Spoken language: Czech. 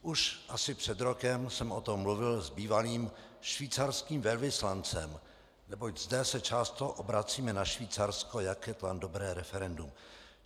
Už asi před rokem jsem o tom mluvil s bývalým švýcarským velvyslancem, neboť zde se často obracíme na Švýcarsko, jak je tam dobré referendum.